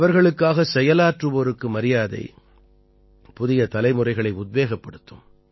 அவர்களுக்காக செயலாற்றுவோருக்கு மரியாதை புதிய தலைமுறைகளை உத்வேகப்படுத்தும்